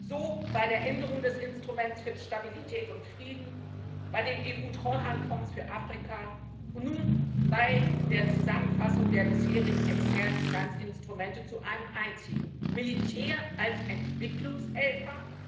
so bei der Änderung des Instruments für Stabilität und Frieden, bei dem EU Treuhandfonds für Afrika und nun bei der Zusammenfassung der bisherigen externen Finanzinstrumente zu einem einzigen. Militär als Entwicklungshelfer?